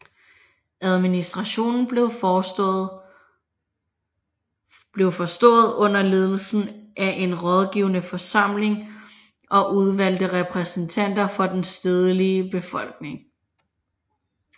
Administrationen blev forestået under ledelse af en rådgivende forsamling og udvalgte repræsentanter for den stedlige befolkning